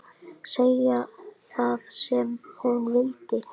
Segja það sem hún vildi.